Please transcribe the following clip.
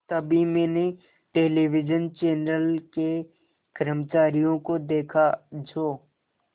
तभी मैंने television channel के कर्मचारियों को देखा जो